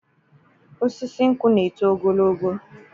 Osisi nkwụ na-eto ogologo.